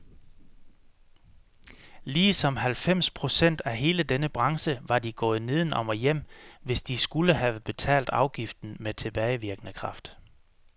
Ligesom halvfems procent af hele denne branche var de gået nedenom og hjem, hvis de skulle have betalt afgiften med tilbagevirkende kraft.